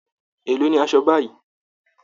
Èló ni aṣọ báyìí!